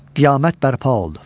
Qiyamət bərpa oldu.